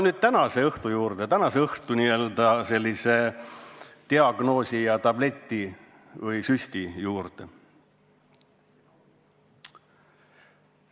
Tuleme tänase õhtu juurde, tänase õhtu n-ö diagnoosi ja tableti või süsti juurde.